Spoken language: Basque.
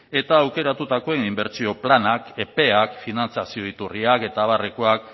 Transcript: eta aukeratutako inbertsio planak epeak finantzazio iturriak eta abarrekoak